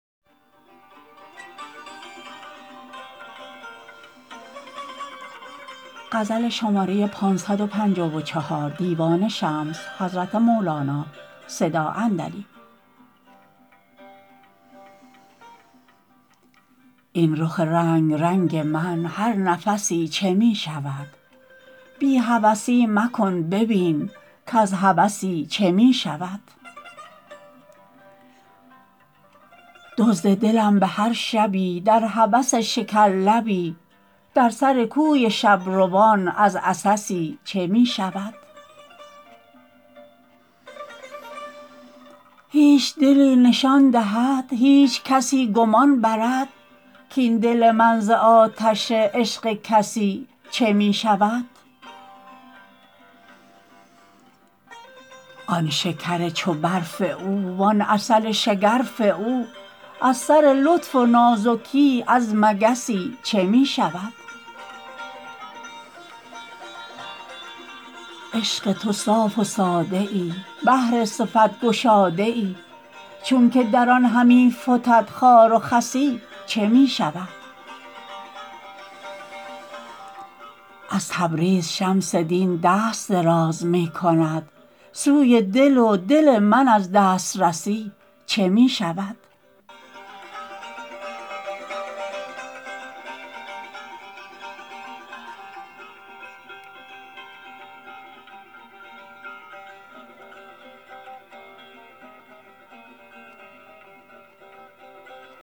این رخ رنگ رنگ من هر نفسی چه می شود بی هوسی مکن ببین کز هوسی چه می شود دزد دلم به هر شبی در هوس شکرلبی در سر کوی شب روان از عسسی چه می شود هیچ دلی نشان دهد هیچ کسی گمان برد کاین دل من ز آتش عشق کسی چه می شود آن شکر چو برف او وان عسل شگرف او از سر لطف و نازکی از مگسی چه می شود عشق تو صاف و ساده ای بحر صفت گشاده ای چونک در آن همی فتد خار و خسی چه می شود از تبریز شمس دین دست دراز می کند سوی دل و دل من از دسترسی چه می شود